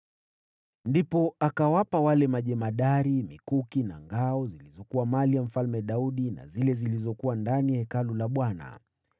Ndipo akawapa wale wakuu mikuki na ngao zilizokuwa za Mfalme Daudi, zilizokuwa ndani ya Hekalu la Bwana .